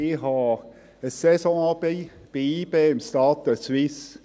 Ich habe ein Saisonabonnement bei YB im Stade de Suisse.